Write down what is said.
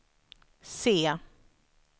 se